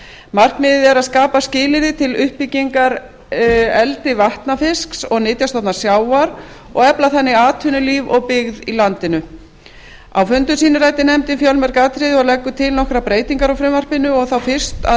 markmiðið er að skapa skilyrði til uppbyggingar eldi vatnafisks og nytjastofna sjávar og efla þannig atvinnulíf og byggð í landinu á fundum sínum ræddi nefndin fjölmörg atriði og leggur til nokkrar breytingar á frumvarpinu og þá fyrst að